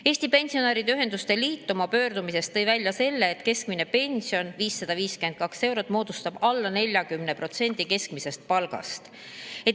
Eesti Pensionäride Ühenduste Liit tõi oma pöördumises välja selle, et keskmine pension, 552 eurot, moodustab alla 40% keskmisest palgast.